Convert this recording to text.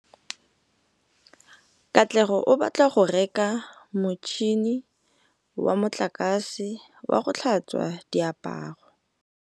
Katlego o batla go reka motšhine wa motlakase wa go tlhatswa diaparo.